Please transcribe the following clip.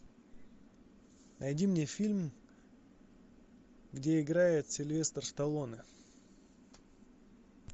найди мне фильм где играет сильвестр сталлоне